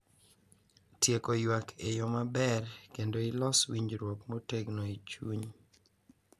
Tieko ywak e yo maber, kendo ilos winjruok motegno e chuny.